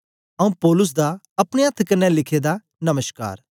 आऊँ पौलुस दा अपने अथ्थ कन्ने लिखे दा नमश्कार